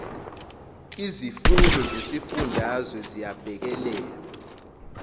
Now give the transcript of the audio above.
izimfuno zezifundazwe ziyabhekelelwa